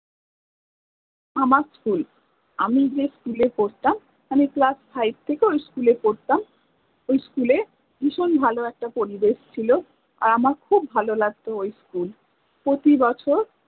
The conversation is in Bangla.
আমার school আমি যে school এ পরতাম, আমি class 5 থেকে ওই school এ পরতাম ওই school এ ভিষণ ভালে ইকটা পরিবেশ ছিল, আর আমার খুব ভালে লাগত ওই school, প্রতি বছর